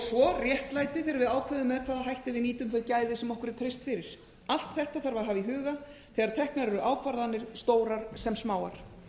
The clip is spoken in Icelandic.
svo réttlætið þegar við ákveðum með hvaða hætti við nýtum þau gæði sem okkur er treyst fyrir allt þetta þarf að hafa í huga þegar teknar eru ákvarðanir stórar sem smáar